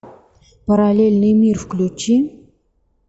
параллельный мир включи